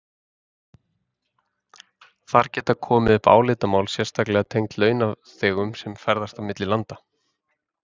Þar geta komið upp álitamál sérstaklega tengd launþegum sem ferðast milli landa.